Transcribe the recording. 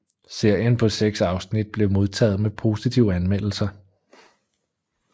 Serien på seks afsnit blev modtaget med positive anmeldelser